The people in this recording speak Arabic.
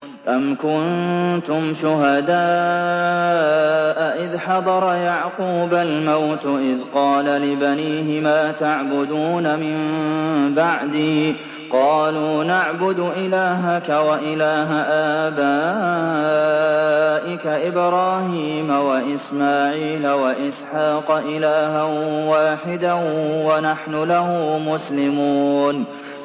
أَمْ كُنتُمْ شُهَدَاءَ إِذْ حَضَرَ يَعْقُوبَ الْمَوْتُ إِذْ قَالَ لِبَنِيهِ مَا تَعْبُدُونَ مِن بَعْدِي قَالُوا نَعْبُدُ إِلَٰهَكَ وَإِلَٰهَ آبَائِكَ إِبْرَاهِيمَ وَإِسْمَاعِيلَ وَإِسْحَاقَ إِلَٰهًا وَاحِدًا وَنَحْنُ لَهُ مُسْلِمُونَ